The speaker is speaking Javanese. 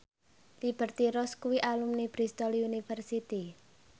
Liberty Ross kuwi alumni Bristol university